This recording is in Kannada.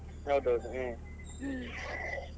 ಹೌದೌದು. ಹ್ಮ್ .